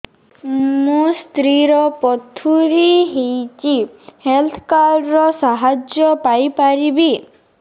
ମୋ ସ୍ତ୍ରୀ ର ପଥୁରୀ ହେଇଚି ହେଲ୍ଥ କାର୍ଡ ର ସାହାଯ୍ୟ ପାଇପାରିବି